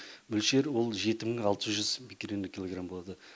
мөлшер ол жеті мың алты жүз биккерельный килограмм болады